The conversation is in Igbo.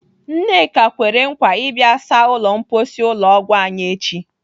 Nneka kwere nkwa ịbịa saa ụlọ mposi ụlọ ọgwụ anyị echi.